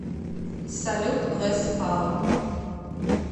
салют лес паул